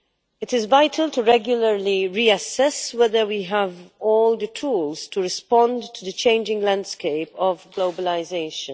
It is vital to regularly reassess whether we have all the tools to respond to the changing landscape of globalisation.